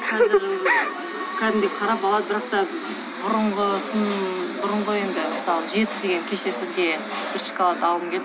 қазір кәдімгідей қарап алады бірақ та бұрынғысын бұрынғы енді мысалы жеті деген кеше сізге бір шоколад алғым келді